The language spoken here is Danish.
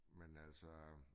Men altså